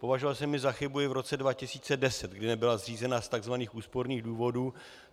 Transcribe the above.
Považoval jsem ji za chybu i v roce 2010, kdy nebyla zřízena z tzv. úsporných důvodů.